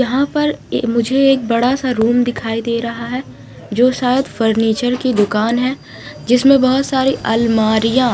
यहा पर एक मुझे बड़ा सा रूम दिखाई दे रहा है जो सायद फर्निचर की दुकान है जिसमे बहुत सारी अलमारिया--